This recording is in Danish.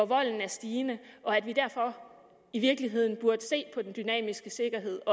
volden er stigende og at vi derfor i virkeligheden også burde se på den dynamiske sikkerhed